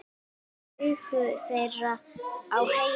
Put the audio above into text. Augu þeirra á henni.